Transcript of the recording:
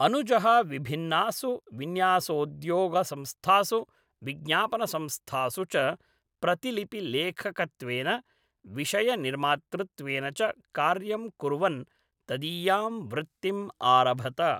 अनुजः विभिन्नासु विन्यासोद्योगसंस्थासु विज्ञापनसंस्थासु च प्रतिलिपिलेखकत्वेन, विषयनिर्मातृत्वेन च कार्यं कुर्वन् तदीयां वृत्तिम् आरभत।